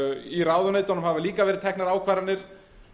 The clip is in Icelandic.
í ráðuneytunum hafa líka verið teknar ákvarðanir